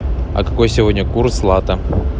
а какой сегодня курс лата